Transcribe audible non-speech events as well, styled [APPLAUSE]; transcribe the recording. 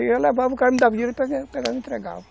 Eu levava, o cara me dava dinheiro e [UNINTELLIGIBLE] entregava.